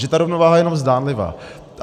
Že ta rovnováha je jenom zdánlivá.